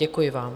Děkuji vám.